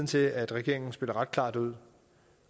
til at regeringen spiller klart ud